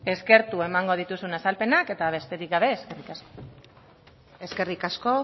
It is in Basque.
eskertu emango dituzuna azalpena eta besterik gabe eskerrik asko eskerrik asko